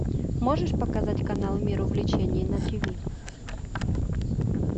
можешь показать канал мир увлечений на тв